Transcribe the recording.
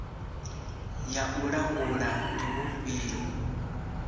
ya u langula ndi vhufhio